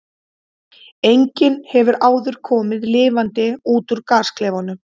Enginn hefur áður komið lifandi út úr gasklefanum.